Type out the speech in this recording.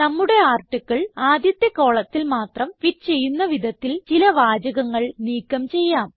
നമ്മുടെ ആർട്ടിക്കിൾ ആദ്യത്തെ കോളത്തിൽ മാത്രം ഫിറ്റ് ചെയ്യുന്ന വിധത്തിൽ ചില വാചകങ്ങൾ നീക്കം ചെയ്യാം